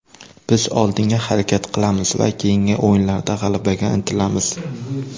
Biz oldinga harakat qilamiz va keyingi o‘yinlarda g‘alabaga intilamiz.